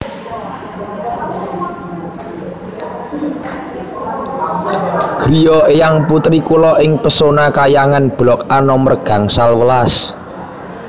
griya eyang putri kulo ing Pesona Khayangan blok A nomer gangsal welas